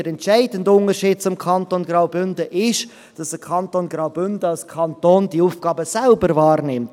Der entscheidende Unterschied zum Kanton Graubünden ist, dass der Kanton Graubünden diese Aufgaben als Kanton selbst wahrnimmt.